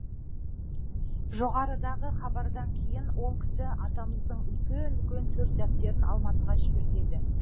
жоғарыдағы хабардан кейін сол кісі атамыздың үлкен үлкен төрт дәптерін алматыға жібертеді